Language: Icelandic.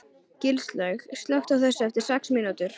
Gilslaug, slökktu á þessu eftir sex mínútur.